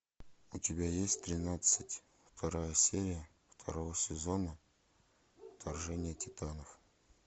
у тебя есть тринадцать вторая серия второго сезона вторжение титанов